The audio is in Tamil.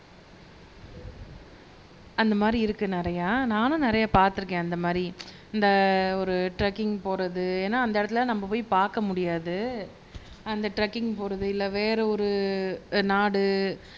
அந்த மாதிரி இருக்கு நிறையா நானும் நிறைய பார்த்திருக்கேன் அந்த மாதிரி இந்த ஒரு ட்ரெக்கிங் போறது ஏன்னா அந்த இடத்துல நம்ம போய் பார்க்க முடியாது அந்த ட்ரெக்கிங் போறது இல்லை வேற ஒரு நாடு